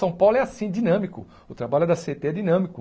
São Paulo é assim, dinâmico, o trabalho da cê ê tê é dinâmico.